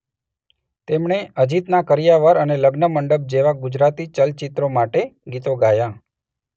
તેમણે અજિતના કરિયાવર અને લગ્નમંડપ જેવા ગુજરાતી ચલચિત્રો માટે ગીતો ગાયા.